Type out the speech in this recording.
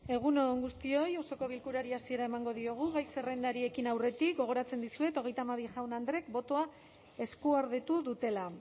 egun on guztioi osoko bilkurari hasiera emango diogu gai zerrendari ekin aurretik gogoratzen dizuet hogeita hamabi jaun andreek botoa eskuordetu dutela